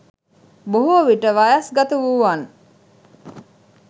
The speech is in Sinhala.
බොහෝ විට වයස් ගත වූවන්